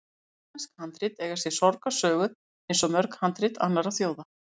Íslensk handrit eiga sér sorgarsögu, eins og mörg handrit annarra þjóða.